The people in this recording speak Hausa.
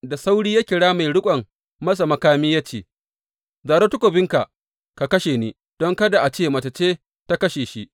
Da sauri ya kira mai riƙon masa makami ya ce, Zaro takobinka ka kashe ni, don kada a ce Mace ce ta kashe shi.’